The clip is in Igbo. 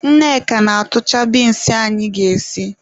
Nneka na-atụcha binsi anyị ga-esi.